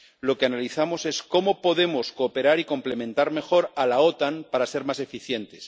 Lo que analizamos es cómo podemos cooperar y complementar mejor a la OTAN para ser más eficientes.